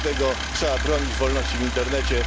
Dlatego trzeba bronić wolności w internecie.